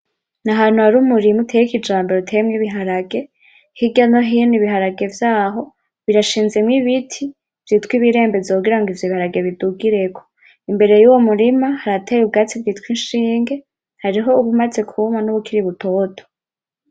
Nahantu hari umurima uteye kijumbu uteyemwo ibiharage. Hirya no hino ibiharage vyaho birashinzemo ibiti vyitwa ibirembenzo kugira ngo ivyo biharage bidugireko. Imbere y’uwo murima, harateye ubwatsi bwitwa inshinge, hariho ubumaze kuma n’ubukiri butoto.